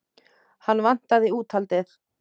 Hann vantaði úthaldið.